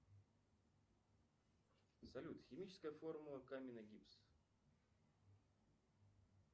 салют химическая формула каменный гипс